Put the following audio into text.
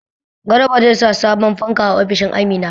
Garba zai sa sabon fanka a ofishin Amina.